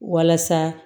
Walasa